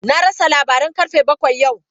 Na rasa labaran karfe bakwai yau.